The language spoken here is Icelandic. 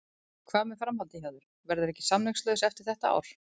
Hvað með framhaldið hjá þér, verðurðu ekki samningslaus eftir þetta ár?